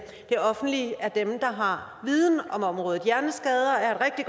det offentlige er dem der har viden om området hjerneskader